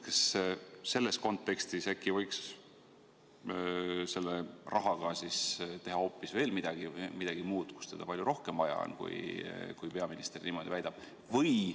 Kas selles kontekstis võiks selle rahaga teha hoopis midagi muud, kasutada seal, kus seda palju rohkem vaja on, kui peaminister niimoodi väidab?